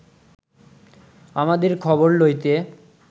আমাদের খবর লইতে